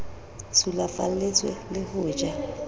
sulafalletswe le ho ja ho